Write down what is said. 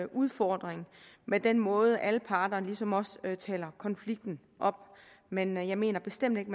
udfordring med den måde alle parter ligesom også taler konflikten op men jeg mener bestemt ikke